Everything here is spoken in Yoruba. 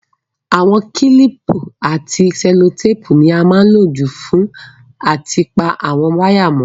Àwon kílìpù àti sẹ́lótàpù ni a má n lo jù fún áti pa àwon wire mó